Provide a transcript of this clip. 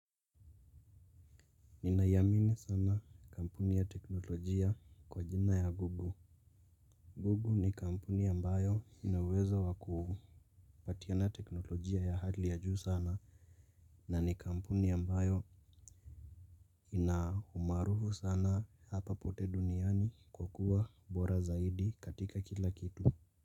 Ninaiamini sana kampuni ya teknolojia kwa jina ya Google. Google ni kampuni ambayo ina uwezo wa kupatiana teknolojia ya hali ya juu sana na ni kampuni ambayo ina umaarufu sana hapa pote duniani kwa kuwa bora zaidi katika kila kitu.